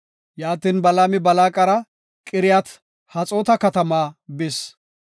Yaatin, Balaami Balaaqara Qiriyat-Haxoota katamaa bis.